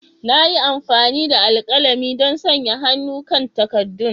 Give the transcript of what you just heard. Na yi amfani da alkalami don sanya hannu kan takaddun.